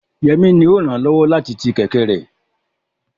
Yemi ni ó ràn án lọ́wọ́ láti ti kẹ̀kẹ́ rẹ̀.